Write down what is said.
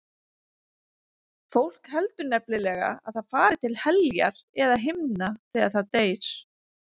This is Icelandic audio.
Fólk heldur nefnilega að það fari til heljar eða himna þegar það deyr.